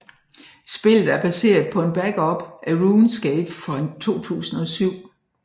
Spillet er baseret på en backup af RuneScape fra 2007